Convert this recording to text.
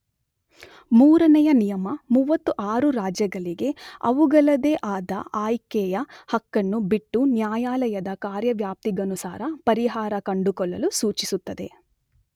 ಮೂರನೆಯ ನಿಯಮ 36 ರಾಜ್ಯಗಳಿಗೆ ಅವುಗಳದೇ ಆದ ಆಯ್ಕೆಯ ಹಕ್ಕನ್ನು ಬಿಟ್ಟು ನ್ಯಾಯಾಲಯದ ಕಾರ್ಯವ್ಯಾಪ್ತಿಗನುಸಾರ ಪರಿಹಾರ ಕಂಡುಕೊಳ್ಳಲು ಸೂಚಿಸುತ್ತದೆ.